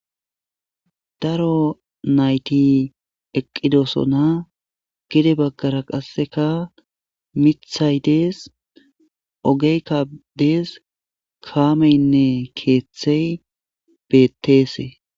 Daro nayti eqqidosona gede baggara qasseka mithay dees ogeyka dees kaameynne keeththey betteese.